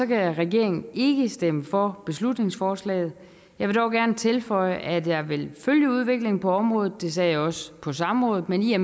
kan regeringen ikke stemme for beslutningsforslaget jeg vil dog gerne tilføje at jeg vil følge udviklingen på området det sagde jeg også på samrådet men i